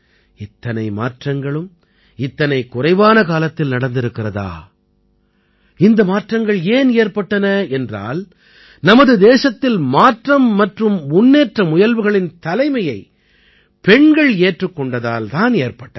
இத்தனை மாற்றங்களும் இத்தனை குறைவான காலத்தில் நடந்திருக்கிறதா இந்த மாற்றங்கள் ஏன் ஏற்பட்டன என்றால் நமது தேசத்தில் மாற்றம் மற்றும் முன்னேற்ற முயல்வுகளின் தலைமையை பெண்கள் ஏற்றுக் கொண்டதால் தான் ஏற்பட்டன